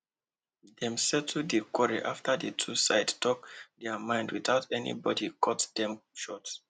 dem settle di quarrel after the two sides talk their mind without anybody cut dem short